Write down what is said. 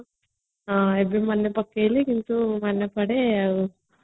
ଆଜି ମାନେ ପକେଇଲେ କିନ୍ତୁ ମାନେ ପଡେ ଆଉ